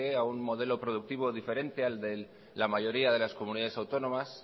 a un modelo productivo diferente al de la mayoría de las comunidades autónomas